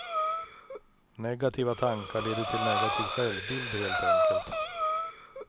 Negativa tankar leder till negativ självbild, helt enkelt.